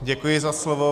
Děkuji za slovo.